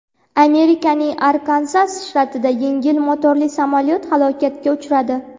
Amerikaning Arkanzas shtatida yengil motorli samolyot halokatga uchradi.